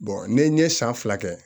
ne ye san fila kɛ